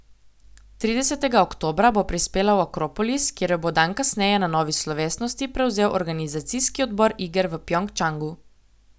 Tridesetega oktobra bo prispela v Akropolis, kjer jo bo dan kasneje na novi slovesnosti prevzel organizacijski odbor iger v Pjongčangu.